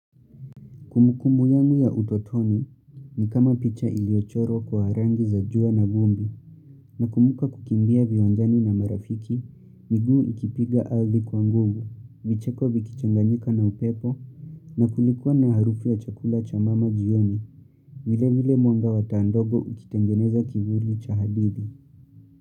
Kumbukumbu yangu ya utotoni, ni kama picha iliochorwa kwa rangi za jua na vumbi, nakumbuka kukimbia viwanjani na marafiki, miguu ikipiga ardhi kwa nguvu, vicheko vikichanganyika na upepo, na kulikuwa na harufu ya chakula cha mama jioni, vile vile mwanga wa taa ndogo ukitengeneza kivuli cha hadithi.